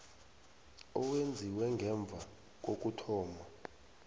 owenziwe ngemva kokuthoma